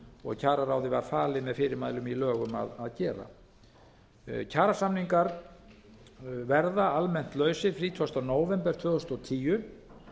og kjararáði var falið með fyrirmælum í lögum að gera kjarasamningar verða almennt lausir þrítugasta nóvember tvö þúsund og tíu